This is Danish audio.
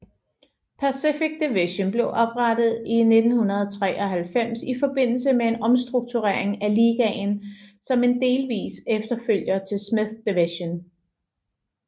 Pacific Division blev oprettet i 1993 i forbindelse med en omstrukturering af ligaen som en delvis efterfølger til Smythe Division